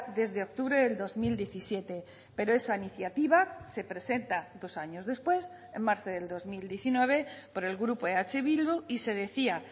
desde octubre del dos mil diecisiete pero esa iniciativa se presenta dos años después en marzo del dos mil diecinueve por el grupo eh bildu y se decía